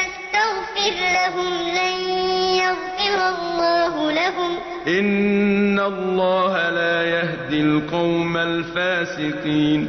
تَسْتَغْفِرْ لَهُمْ لَن يَغْفِرَ اللَّهُ لَهُمْ ۚ إِنَّ اللَّهَ لَا يَهْدِي الْقَوْمَ الْفَاسِقِينَ